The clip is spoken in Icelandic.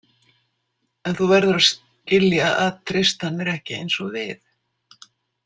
En þú verður að skilja að Tristan er ekki eins og við.